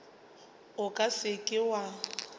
o ka se ke wa